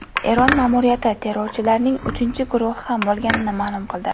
Eron ma’muriyati terrorchilarning uchinchi guruhi ham bo‘lganini ma’lum qildi.